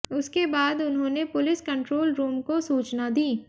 उसके बाद उन्होंने पुलिस कंट्रोल रूम को सूचना दी